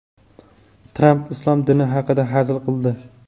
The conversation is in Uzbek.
Tramp islom dini haqida hazil qildi.